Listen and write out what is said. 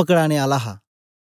पकडाने आल्ला हा